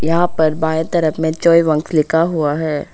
यहां पर बाएं तरफ में चोए वांग्स लिखा हुआ है।